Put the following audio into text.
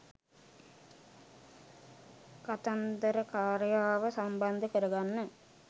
කතන්දරකාරයාව සම්බන්ධ කරගන්න